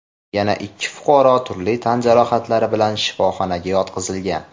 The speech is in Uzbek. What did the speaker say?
yana ikki fuqaro turli tan jarohatlari bilan shifoxonaga yotqizilgan.